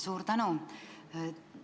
Suur tänu!